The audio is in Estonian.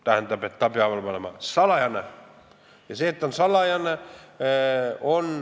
Tähendab, ta peab olema salajane.